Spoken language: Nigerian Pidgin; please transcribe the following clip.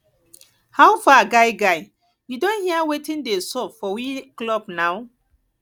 how far guy guy you don hear wetin dey sup for we club na